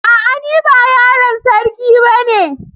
A'a ni ba yaron sarki bane.